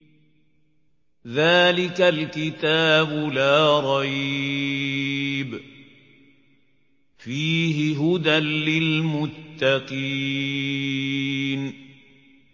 ذَٰلِكَ الْكِتَابُ لَا رَيْبَ ۛ فِيهِ ۛ هُدًى لِّلْمُتَّقِينَ